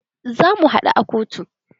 Zamu haɗu a kotu.